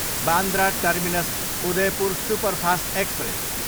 Bandra terminus, Udaipur superfast express